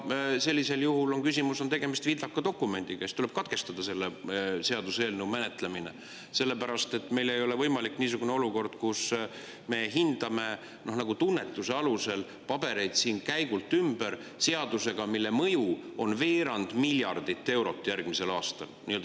Sellisel juhul on tegemist vildaka dokumendiga, siis tuleb katkestada selle seaduseelnõu menetlemine, sellepärast et meil ei ole võimalik niisugune olukord, kus me improviseerime siin kohapeal, kus me hindame tunnetuse alusel pabereid siin käigult ümber seaduse puhul, mille mõju on veerand miljardit eurot järgmisel aastal.